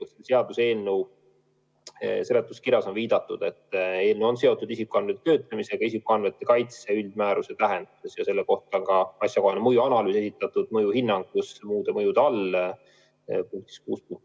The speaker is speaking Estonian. Selle seaduseelnõu seletuskirjas on viidatud, et eelnõu on seotud isikuandmete töötlemisega isikuandmete kaitse üldmääruse tähenduses ja selle kohta on asjakohane mõjuanalüüs esitatud mõjuhinnangus muude mõjude all, punkt 6.2.